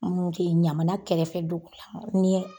Minnu tɛ ɲamana kɛrɛfɛ dugu la ni ye